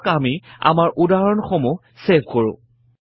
আহক আমি আমাৰ উদহৰণ সমূহ চেভ কৰো